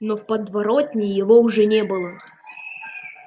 но в подворотне его уже не было